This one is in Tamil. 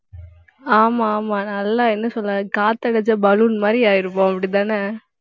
ஆமா, ஆமா நல்லா என்ன சொல்றது காத்தடிச்ச balloon மாதிரி ஆயிருவோம் அப்படித்தானே